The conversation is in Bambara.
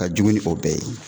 Ka jugu ni o bɛɛ ye